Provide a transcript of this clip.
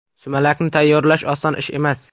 Sumalakni tayyorlash oson ish emas.